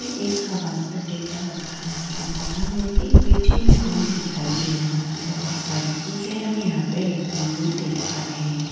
यह एक हवाई अड्डे का लग रहा है यहाँ पर हमें एक ए.टी.एम. रूम दिखाई दे रहा है बहुत सारी चीजें हम यहाँ पर रखी हुई देख पा रहे हैं।